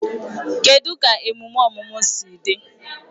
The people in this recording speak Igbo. Kedụ ka emume ọmụmụ si dị?